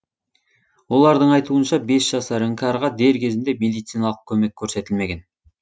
олардың айтуынша бес жасар іңкәрға дер кезінде медициналық көмек көрсетілмеген